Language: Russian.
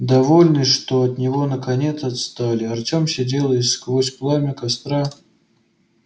довольный что от него наконец отстали артём сидел и сквозь пламя костра